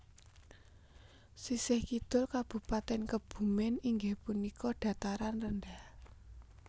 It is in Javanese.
Sisih kidul Kabupatèn Kebumen iinggih punika dataran rendah